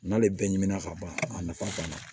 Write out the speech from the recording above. N'ale bɛɛ ɲinɛ ka ban a nafa ban na